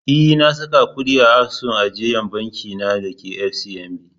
E, na saka kuɗi a asusun ajiyar banki na da ke FCMB.